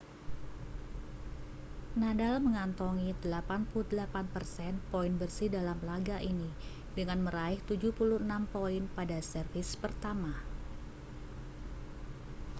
nadal mengantongi 88% poin bersih dalam laga ini dengan meraih 76 poin pada servis pertama